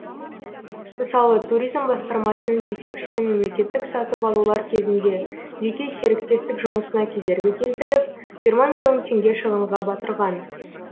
мысалы туризм басқармасының жетекшісі мемлекеттік сатып алулар кезінде жеке серіктестік жұмысына кедергі келтіріп жиырма миллион теңге шығынға батырған